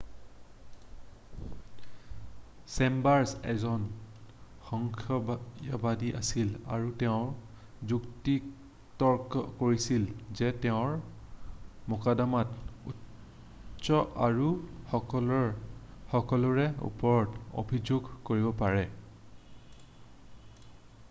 "Chambers এজন সংশয়বাদী আছিল আৰু তেওঁ যুক্তিতৰ্ক কৰিছিল যে তেওঁৰ মোকদ্দমাতো তুচ্ছ আৰু "সকলোৱে সকলোৰে ওপৰত অভিযোগ কৰিব পাৰে""।""